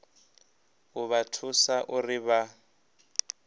u vha thusa uri vha